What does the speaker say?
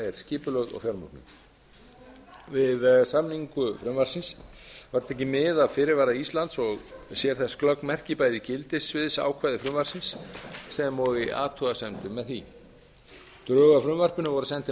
skipulögð og fjármögnuð við samningu frumvarpsins var tekið mið af fyrirvara íslands og sér þess glögg merki bæði í gildissviðsákvæði frumvarpsins sem og í athugasemdum með því drög að frumvarpinu voru send til